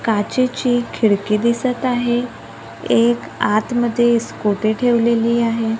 काचेची खिडकी दिसत आहे एक आतमध्ये स्कुटी ठेवलेली आहे.